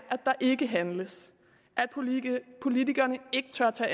ikke handles at politikerne politikerne ikke tør tage